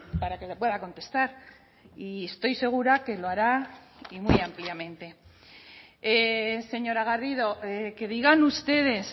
para que le pueda contestar y estoy segura que lo hará y muy ampliamente señora garrido que digan ustedes